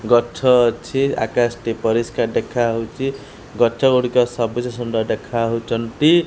ଗଛ ଅଛି ଆକାଶ ଟି ପରିଷ୍କାର ଦେଖାହଉଚି ଗଛ ଗୁଡିକ ସବୁଜ ସୁନ୍ଦର ଦେଖାହଉଚନ୍ତି।